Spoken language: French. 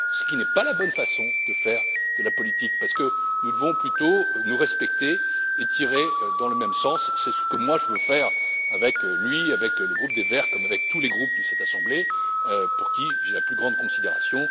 Ce qui n'est pas la bonne façon de faire de la politique, parce que nous devons plutôt nous respecter et tirer dans le même sens. C'est ce que moi je veux faire avec lui, avec le groupe des Verts, comme avec tous les groupes de cette assemblée, pour qui j'ai la plus grande considération.